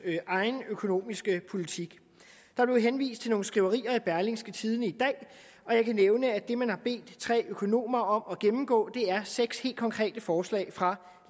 egen økonomiske politik der blev henvist til nogle skriverier i berlingske tidende i dag og jeg kan nævne at det man har bedt tre økonomer om at gennemgå er seks helt konkrete forslag fra